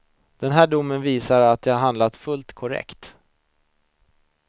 Den här domen visar att jag handlade fullt korrekt.